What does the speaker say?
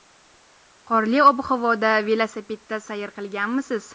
Qorli ob-havoda velosipedda sayr qilganmisiz?